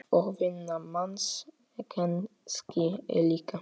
Og vinnan manns kannski líka.